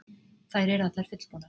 Þær eru allar fullbúnar